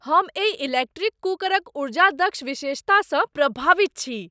हम एहि इलेक्ट्रिक कुकरक ऊर्जा दक्ष विशेषतासँ प्रभावित छी!